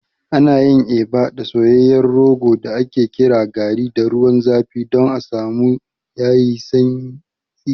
Ana yin Eba da soyayyen rogo da ake kira garri da ruwan zafi don a samu yayi santsi.